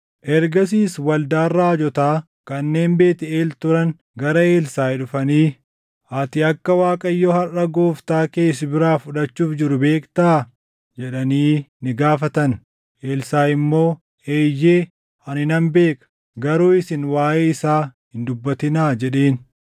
Ergasiis waldaan raajotaa kanneen Beetʼeel turan gara Elsaaʼi dhufanii, “Ati akka Waaqayyo harʼa gooftaa kee si biraa fudhachuuf jiru beektaa?” jedhanii ni gaafatan. Elsaaʼi immoo, “Eeyyee, ani nan beeka; garuu isin waaʼee isaa hin dubbatinaa” jedheen.